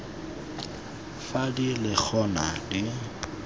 fa di le gona di